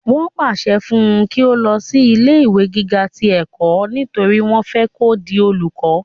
wọ́n pàṣẹ fún un kí ó lọ sí ilé ìwé gíga ti ẹ̀kọ́ nítorí wọ́n fẹ́ kó di olùkọ́